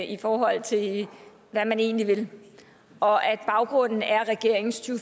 i forhold til hvad man egentlig vil og at baggrunden er regeringens to